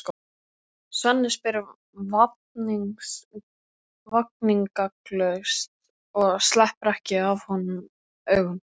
Svenni spyr vafningalaust og sleppir ekki af honum augunum.